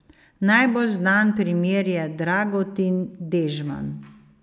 Najbolj znan primer je Dragutin Dežman.